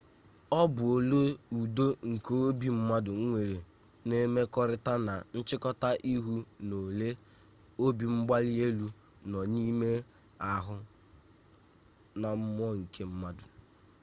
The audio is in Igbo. ọ bụ ole udo nke obi mmadụ nwere na-emekọrịta na nchịkọta ihu na ole obimgbalielu nọ n'ime ahụ na mmụọ nke mmadụ